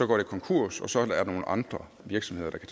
går de konkurs og så er der nogle andre virksomheder der